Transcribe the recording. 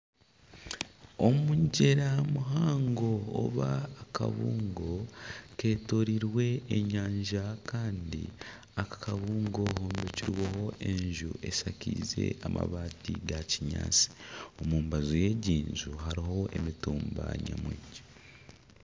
Omugyera muhango oba akabuungo ketoreirwe enyanja kandi aka kabuungo kombekirweho enju eshakaize amabaati ga kinyaatsi omu mbaju y'egi nju harimu emitumba nyamwingi.